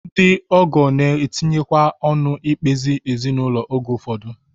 Ndị ọgọ na-etinyekwa ọnụ n'ikpe ezinụlọ oge ụfọdụ